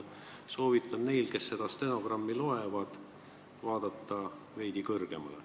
Aitäh!